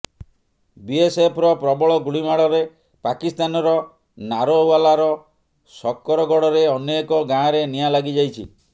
ବିଏସ୍ଏଫ୍ର ପ୍ରବଳ ଗୁଳିମାଡ଼ରେ ପାକିସ୍ତାନର ନାରୋୱାଲାର ଶକରଗଡ଼ରେ ଅନେକ ଗାଁରେ ନିଆଁ ଲାଗିଯାଇଛି